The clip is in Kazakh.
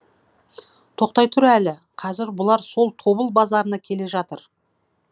тоқтай тұр әлі қазір бұлар сол тобыл базарына келе жатыр